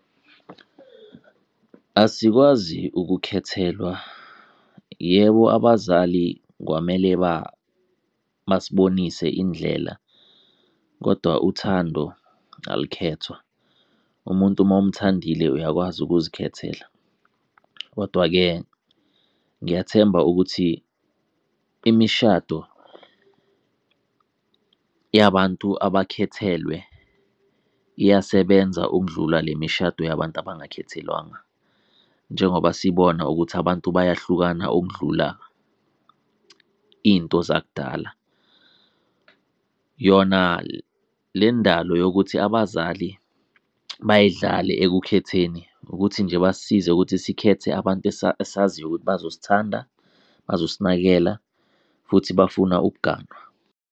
Asikwazi ukukhethelwa. Yebo, abazali kwamele basibonise indlela kodwa uthando alukhethwa, umuntu mawumthandile uyakwazi ukuzikhethela. Kodwa-ke ngiyathemba ukuthi imishado yabantu abakhethelwe iyasebenza ukudlula le mishado yabantu abangakhethelwanga, njengoba sibona ukuthi abantu bayahlukana ukudlula into zakudala. Yona le ndalo yokuthi abazali bayidlale ekukhetheni ukuthi nje basisize ukuthi sikhethe abantu esaziyo ukuthi bazosithanda, bazosinakekela futhi bafuna ukuganwa.